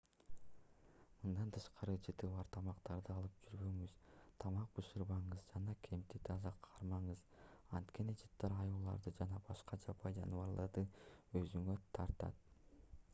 мындан тышкары жыты бар тамактарды алып жүрбөңүз тамак бышырбаңыз жана кемпти таза кармаңыз анткени жыттар аюуларды жана башка жапайы жаныбарларды өзүнө тартат